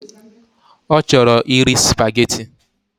Ọ chọrọ iri spaghetti